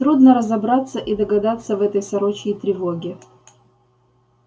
трудно разобраться и догадаться в этой сорочьей тревоге